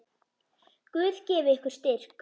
Guð gefi ykkur styrk.